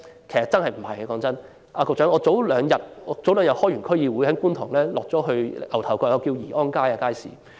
局長，我前兩天出席區議會會議後，曾經前往觀塘牛頭角的宜安街街市。